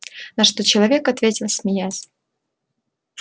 на что человек ответил смеясь